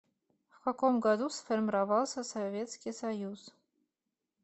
в каком году сформировался советский союз